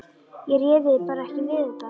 Ég réði bara ekki við þetta.